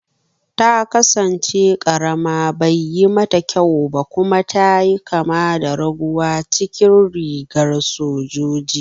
Ta kasance karama, baiyi mata kyau ba kuma ta yi kama da raguwa cikin rigar sojoji.